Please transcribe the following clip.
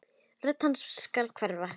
Rödd hans skal hverfa.